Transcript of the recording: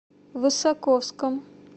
высоковском